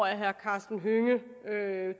at herre karsten hønge